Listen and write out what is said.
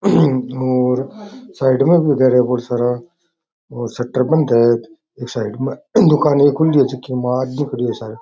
और साइड में घर है भोळा सारा और शटर बंद है एक साइड में दूकान है खुली है माल बिक रो है सारो --